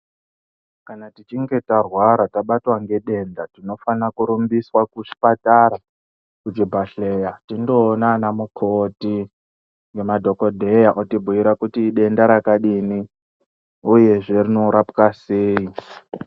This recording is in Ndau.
Kana tichinge tarwara tabatwa ngedenda tinofana kurumbiswa kuchipatara kuchibhadhleya tindoona ana mukoti nemadhokodheya otibhuira kuti idenda rakadini uyezve rinorapwa sei.